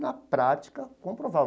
Na prática, comprovar.